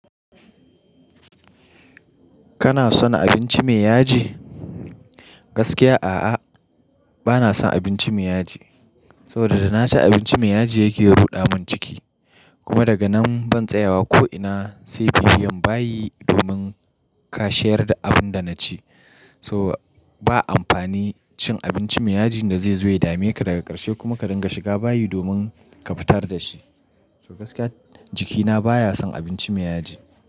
Kana son abinci mai yaji? Gaskiya a'a, bana son abinci mai yaji. Soboda da na ci abinci mai yaji yake ruɗa mun ciki. Kuma daga nan ban tsayawa ko ina sai bibiyam bayi domin kashiyar da abin da na ci. To ba amfani cin abinci mai yaji da zai zo ya dame ka daga karshe kuma ka dinga shiga bayi domin ka fitar da shi. So gaskiya jikina baya son abinci mai yaji.